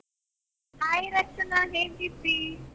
Hai Rachana ಹೇಗಿದ್ದಿ?